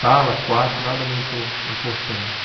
Sala, quarto, nada muito importante.